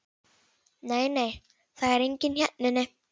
Nei, nei, það er enginn hérna inni.